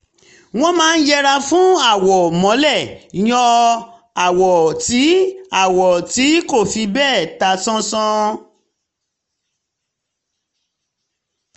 wọ́n máa ń yẹra fún àwọ̀ mọ́lẹ̀ yòò ń um lo àwọ̀ tí um àwọ̀ tí um kò fi bẹ́ẹ̀ ta sánsán